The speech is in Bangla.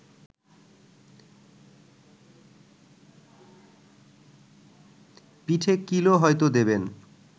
পিঠে কিলও হয়ত দেবেন